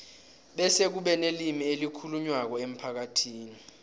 bese kube nelimi elikhulunywako emphakathini